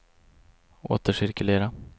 återcirkulera